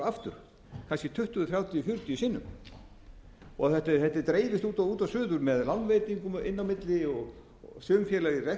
aftur kannski tuttugu þrjátíu fjörutíu sinnum þetta dreifist út og suður með lánveitingum inn á milli sum félög eru